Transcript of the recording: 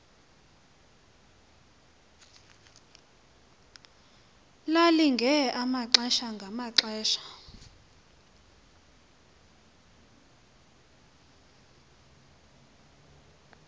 lalilinge amaxesha ngamaxesha